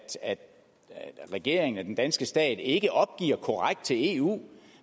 regeringen den danske stat ikke opgiver korrekt til eu